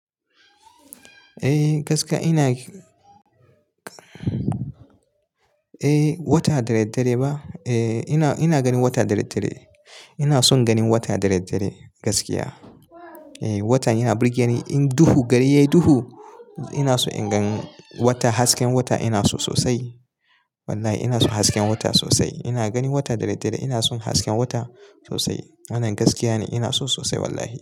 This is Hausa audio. Eh gaskiya ina, Eh wata dadaddare ba? Eh ina ganin wata dadaddare. Ina son ganin wata dadaddare gaskiya. Eh watan yana burge ni in duhu, gari yayi duhu ina so in gan wata. Hasken wata ina so sosai. Wallahi ina so hasken wata sosai. Ina ganin wata dare dare. Ina son hasken wata sosai. Wannan gaskiya ne. Ina so sosai wallahi.